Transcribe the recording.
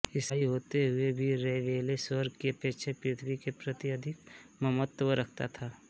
ईसाई होते हुए भी रैबेले स्वर्ग की अपेक्षा पृथ्वी के प्रति अधिक ममत्व रखता था